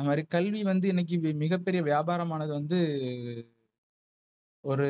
அவரு கல்வி வந்து இணைக்கு மிகப்பெரிய வியாபார மானது வந்து ஒரு